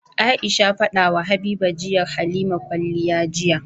Aisha fadawa habiba tayi halima kwaliya jiya